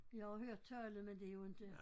Jeg har hørt tallet men det jo inte